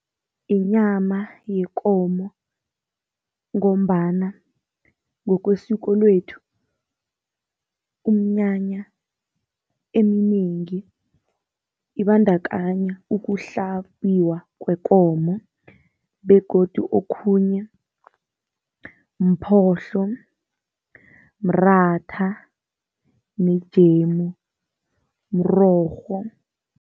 Inyama yekomo ngombana ngokwesiko lethu, umnyanya eminengi ibandakanya ukuhlabiwa kwekomo begodu okhunye mphohlo, mratha nejemu, mrorho.